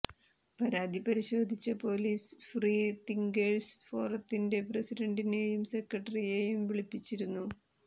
പരാതി പരിശോധിച്ച police free thinkers ഫോറത്തിന്റെ പ്രസിഡന്റിനെയും സെക്രട്ടറിയെയും വിളിപ്പിച്ചിരുന്നു